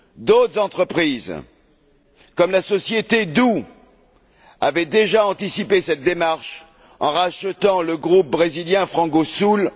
D'autres entreprises, comme la société Doux, avaient déjà anticipé cette démarche en rachetant le groupe brésilien Frangosul en